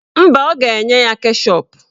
Mba, ọ ga-enye ya keshọp.